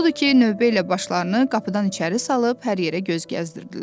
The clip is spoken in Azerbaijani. Odur ki, növbə ilə başlarını qapıdan içəri salıb hər yerə göz gəzdirdilər.